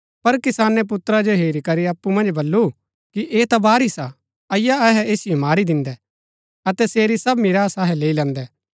पर किसाने पुत्रा जो हेरू करी अप्पु मन्ज बल्लू कि ऐह ता वारिस हा अईआ अहै ऐसिओ मारी दिन्दै अतै सेरी सब मीरास अहै लैई लैदैं